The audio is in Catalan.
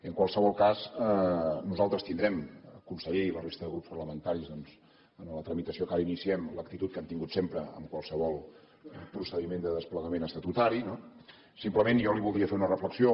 en qualsevol cas nosaltres tindrem conseller i la resta de grups parlamentaris doncs en la tramitació que ara iniciem l’actitud que hem tingut sempre en qualsevol procediment de desplegament estatutari no simplement jo li voldria fer una reflexió